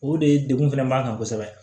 O de ye degun fɛnɛ b'an kan kosɛbɛ